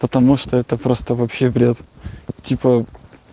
потому что это просто вообще бред типа